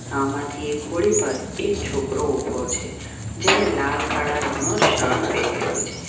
આમાંથી એક હોળી પર એક છોકરો ઊભો છે જેણે લાલ કાળા રંગનો શર્ટ પહેરેલો છે.